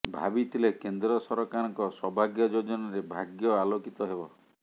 ଭାବିଥିଲେ କେନ୍ଦ୍ର ସରକାରଙ୍କ ସୌଭାଗ୍ୟ ଯୋଜନାରେ ଭାଗ୍ୟ ଆଲୋକିତ ହେବ